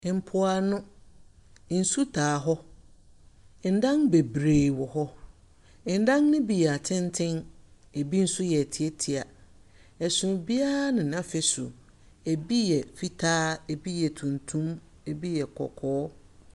Mpoano, nsu taa hɔ, adan bebree wɔ hɔ. Adan no bi yɛ atsentsen, bi so yɛ ntsiatsia. Ɛsono biara ne n’afasu, bi yɛ fitaa, bi yɛ tuntum, bi yɛ kɔkɔɔ.